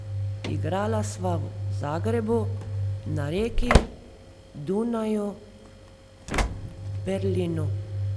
Igrala sva v Zagrebu, na Reki, Dunaju, v Berlinu.